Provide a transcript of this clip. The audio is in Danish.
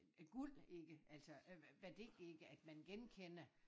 Øh guld ikke altså øh værdi ikke at man genkender